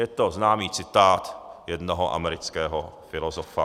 Je to známý citát jednoho amerického filozofa.